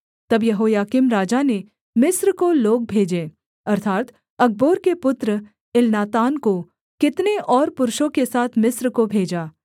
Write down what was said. तब यहोयाकीम राजा ने मिस्र को लोग भेजे अर्थात् अकबोर के पुत्र एलनातान को कितने और पुरुषों के साथ मिस्र को भेजा